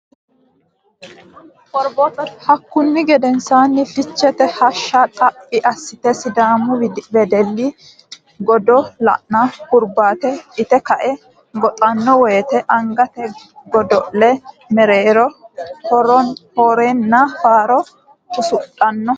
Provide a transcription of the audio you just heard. Hakkunni gedensaanni Ficheete hashsha Xaphi assate Sidaamu wedelli godo lanno hurbaate ite kae goxanno woyte angate godo le mereero horenna faaro usudhanno.